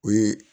O ye